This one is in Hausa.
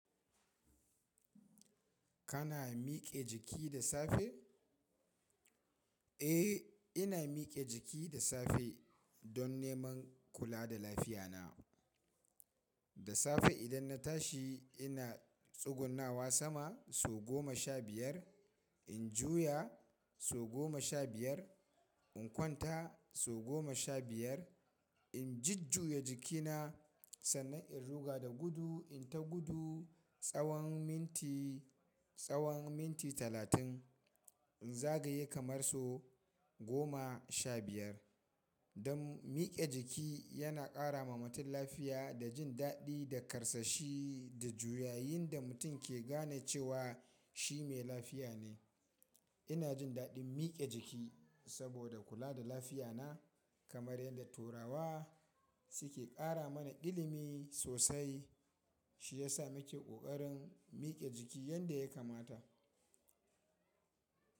Kana miƙe jiki da safe? Eh, ina miƙe jiki da safe don neman kula da lafiya na. Da safe idan na tashi ina tsugunnawa sama so goma sha biyar, in juya so goma sha biyar, in kwanta so goma sha biyar, in jujjuye jikina sannan in ruga da gudu in ta gudu tsawon minti, tsawon minti talatin, in zagaye kamar so goma sha biyar. Don miƙe jiki yana ƙara ma mutum lafiya da jin daɗi da karsashi da juyayin da mutum ke gane cewa shi mai lafiya ne. Ina jin daɗin miƙe jiki saboda kula da lafiya na kamar yadda Turawa suke ƙara mana ilimi sosai. Shi ya sa muke ƙoƙarin miƙe jiki yadda ya kamata.